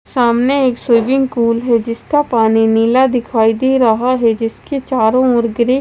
सामने एक swimming pool है। जिसका पानी नीला दिखाई दे रहा है। जिसके चारों ओर ग्रे --